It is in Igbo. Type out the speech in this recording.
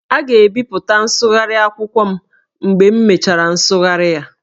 A ga-ebipụta nsụgharị akwụkwọ m mgbe m mechara nsụgharị ya